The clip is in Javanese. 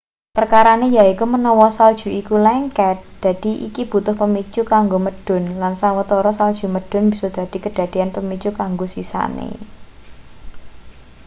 perkarane yaiku menawa salju iku lengket dadi iki butuh pemicu kanggo medhun lan sawetara salju medhun bisa dadi kedadean pemicu kanggo sisane